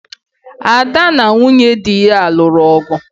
Ada na nwunye di ya lụrụ ọgu